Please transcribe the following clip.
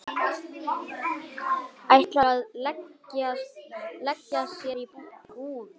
Ætlar að leigja sér íbúð.